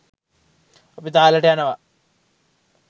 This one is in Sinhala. අපි තාලෙට යනවා